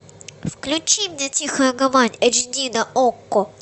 включи мне тихая гавань эйч ди на окко